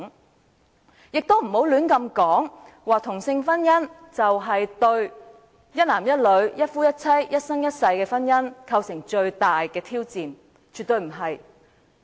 大家也不要亂說同性婚姻是對一男一女，一夫一妻，一生一世的婚姻制度最大的挑戰，絕對不是。